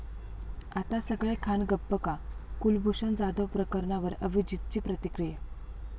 आता सगळे खान गप्प का? कुलभूषण जाधव प्रकरणावर अभिजीतची प्रतिक्रिया